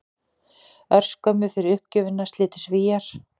Örskömmu fyrir uppgjöfina slitu Svíar